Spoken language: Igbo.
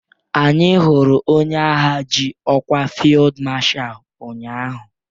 Anyị hụrụ onye agha ji ọkwa fịldmashal ụnyaahụ.